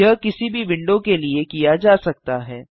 यह किसी भी विंडो के लिए किया जा सकता है